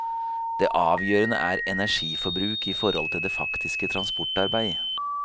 Det avgjørende er energiforbruk i forhold til det faktiske transportarbeid.